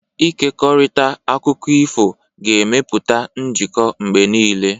Ịkekọrịta akụkọ ifo ga-emepụta njikọ mgbe niile.